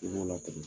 I b'o latigɛ